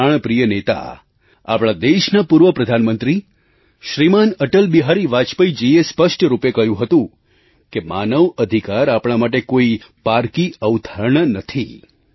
આપણા પ્રાણપ્રિય નેતા આપણા દેશના પૂર્વ પ્રધાનમંત્રી શ્રીમાન અટલબિહારી વાજપેયીજીએ સ્પષ્ટ રૂપે કહ્યું હતું કે માનવ અધિકાર આપણા માટે કોઈ પારકી અવધારણા નથી